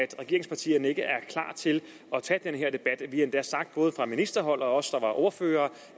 regeringspartierne ikke er klar til at tage den her debat vi har endda sagt både fra ministerhold og os der var ordførere